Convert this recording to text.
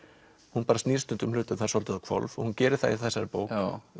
hún snýr hlutum þar svolítið á hvolf hún gerir það í þessari bók